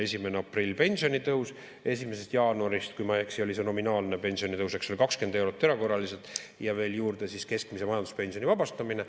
1. aprilli pensionitõus, 1. jaanuarist, kui ma ei eksi, oli see nominaalne pensionitõus, eks ole, 20 eurot erakorraliselt ja veel juurde keskmise vanaduspensioni vabastamine.